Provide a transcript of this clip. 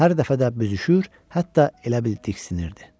Hər dəfə də büzüşür, hətta elə bil diksinirdi.